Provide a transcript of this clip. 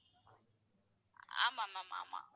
ஆமா ma'am ஆமா.